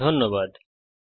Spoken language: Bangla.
অংশগ্রহনের জন্য ধন্যবাদ